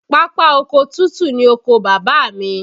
Pápá oko tútù ni oko Bàbá mi